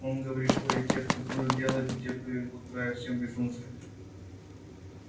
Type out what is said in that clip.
он говорит что и те кто дурь делает и те кто её глотает все безумцы